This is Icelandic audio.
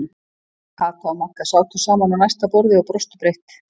Kata og Magga sátu saman á næsta borði og brostu breitt.